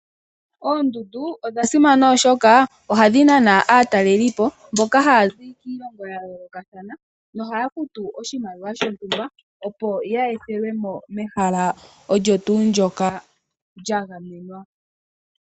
Oondundu odha simana oshoka ohadhi nana aatalelipo, mboka haya zi kiilongo ya yoolokathana, kohaya futu oshimaliwa shontumba, opo ya ethelwe mo mehala olyo tuu ndyoka lya gamenwa.